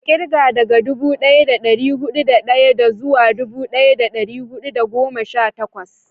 ka kirga daga dubu daya da dari hudu da daya zuwa dubu daya da dari hudu da goma sha takwas